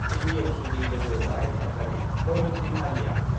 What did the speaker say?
एबिएमसनि लोगो गाहाइ नेहाथारि मइनुद्दिन आलिआ।